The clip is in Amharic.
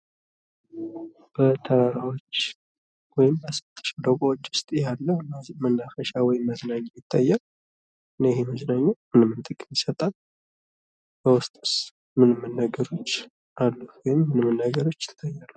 በተራራዎች ወይም በስምጥ ሸለቆዎች ውስጥ ያለ መናፈሻ ወይም መዝናኛ ቦታ ይታያል ። እና ይህ መዝናኛ ምን ምን ጥቅም ይሰጣል? በውስጡስ ምን ምን ነገሮች አሉ ወይም ምን ምን ነገሮች ይታያሉ?